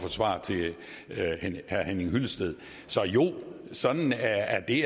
at svare til herre henning hyllested så jo sådan er det